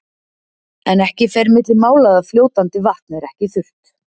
En ekki fer milli mála að fljótandi vatn er ekki þurrt.